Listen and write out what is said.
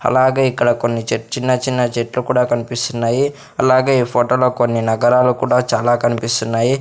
అలాగే ఇక్కడ కొన్ని చెట్ చిన్న చిన్న చెట్లు కూడా కన్పిస్తున్నాయి అలాగే ఈ ఫొటో లో కొన్ని నగరాలు కూడా చాలా కన్పిస్తున్నాయి.